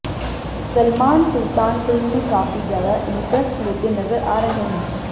Salman Sultan film में काफ़ी ज्यादा इन्ट्रेस्ट लेते नज़र आ रहे हैं